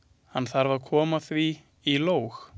Hann þarf að koma því í lóg.